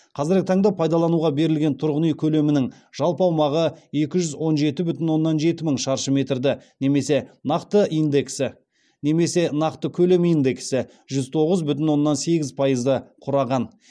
қазіргі таңда пайдалануға берілген тұрғын үй көлемінің жалпы аумағы екі жүз он жеті бүтін оннан жеті мың шаршы метрді немесе нақты индексі немесе нақты көлем индексі жүз тоғыз бүтін оннан сегіз пайызды құраған